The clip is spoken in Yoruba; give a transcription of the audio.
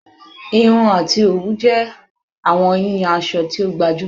Irun ati owu jẹ awọn yiyan asọ ti o gbajumọ